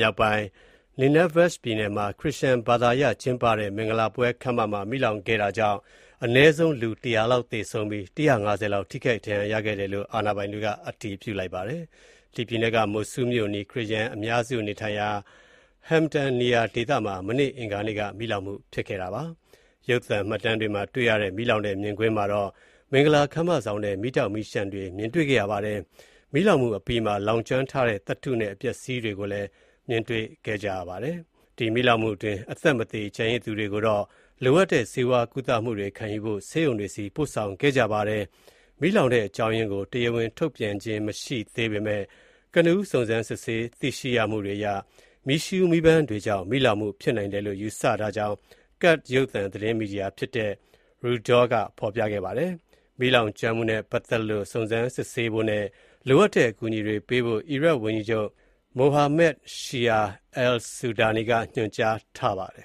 ြောက်ပိုင်း Nineveh ပြည်နယ်မှာ ခရစ်ယာန်ဘာသာအရကျင်းပတဲ့ မင်္ဂလာပွဲခန်းမမှာ မီးလောင်မှု ဖြစ်ပွားခဲ့တာကြောင့် အနည်းဆုံး လူ ၁၀၀ လောက်သေဆုံးပြီး ၁၅၀ လောက် ထိခိုက် ဒဏ်ရာရခဲ့ကြောင်း အာဏာပိုင်တွေက အတည်ပြုလိုက်ပါတယ်။ Mosul မြို့အနီး ခရစ်ယာန်အများစုနေထိုင်ရာ Hamdaniya ဒေသမှာ အင်္ဂါနေ့က မီးလောင်မှု ဖြစ်ခဲ့တာပါ။ ရုပ်သံမှတ်တမ်းတွေမှာ တွေ့ရတဲ့ မီးလောင်တဲ့ မြင်ကွင်းမှာတော့ မင်္ဂလာခန်းမဆောင်ထဲ မီးတောက် မီးလျှံတွေ မြင်တွေ့ခဲ့ရပါတယ်။ မီးလောင်မှုအပြီးမှာ လောင်ကျွမ်းထားတဲ့ သတ္တုနဲ့ အပျက်အစီးတွေကိုလည်း မြင်တွေ့ခဲ့ကြရပါတယ်။ မီးလောင်မှုအတွင်း အသက်မသေ ကျန်ရစ်သူတွေကိုတော့ လိုအပ်တဲ့ ဆေးဝါးကုသမှုတွေ ခံယူဖို့ ဆေးရုံတွေဆီ ပို့ဆောင်ခဲ့ကြပါတယ်။ မီးလောင်တဲ့ အကြောင်းရင်းနဲ့ ပတ်သက်လို့ တရားဝင်ထုတ်ပြန်ခြင်းမရှိသေးပေမဲ့ ကနဦး စုံစမ်း သိရှိမှုတွေအရ မီးရှူး မီးပန်းတွေကြောင့် မီးလောင်မှု ဖြစ်နိုင်တယ်လို့ ယူဆထားကြောင်း Kurd ရုပ်သံ သတင်းမီဒီယာဖြစ်တဲ့ Rudaw က ဖော်ပြခဲ့တာပါ။မီးလောင်ကျွမ်းမှုနဲ့ပတ်သက်လို့ စုံစမ်းစစ်ဆေးဖို့နဲ့ လိုအပ်တဲ့ အကူအညီတွေ ပေးဖို့ အီရတ်ဝန်ကြီးချုပ် Mohammed Shia al-Sudani က ညွှန်ကြားထားပါတယ်